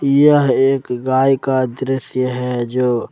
यह एक गाय का दृश्य है जो--